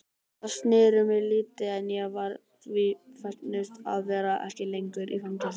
Þau snertu mig lítið en ég var því fegnust að vera ekki lengur í fangelsi.